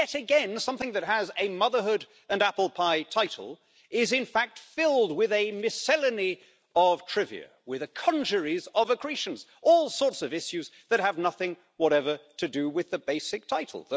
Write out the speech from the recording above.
Because, yet again, something that has a motherhood and apple pie title is, in fact, filled with a miscellany of trivia, with congeries of accretions all sorts of issues that have nothing whatsoever to do with the basic title.